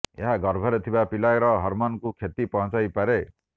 ଏହା ଗର୍ଭରେ ଥିବା ପିଲାର ହର୍ମୋନ୍କୁ କ୍ଷତି ପହଞ୍ଚାଇ ପାରେ